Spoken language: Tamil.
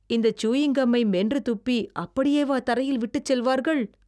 இந்த சூயிங் கம்மை மென்றுத் துப்பி அப்படியேவா தரையில் விட்டுச் செல்வார்கள்?